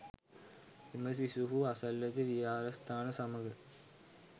එම සිසුහු අසල්වැසි විහාරස්ථාන සමග